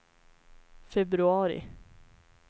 februari